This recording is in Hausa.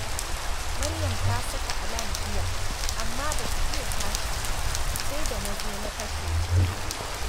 Maryam ta saka alam jiya, amma ba ta iya tashi ba, sai da na zo na kashe shi